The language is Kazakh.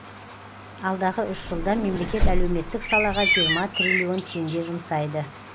алдағы үш жылда мемлекет әлеуметтік салаға жиырма триллион теңге жұмсайды